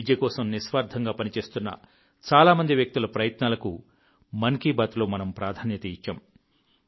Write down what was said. విద్య కోసం నిస్వార్థంగా పనిచేస్తున్న చాలా మంది వ్యక్తుల ప్రయత్నాలకు మన్ కీ బాత్లో మనం ప్రాధాన్యత ఇచ్చాం